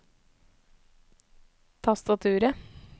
tastaturet